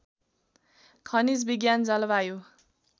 खनिज विज्ञान जलवायु